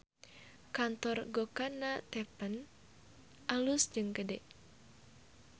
Kantor Gokana Teppan alus jeung gede